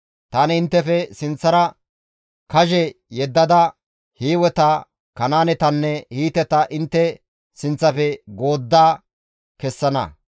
Tani inttefe sinththara kazhe yeddada Hiiweta, Kanaanetanne Hiiteta goodda kessana.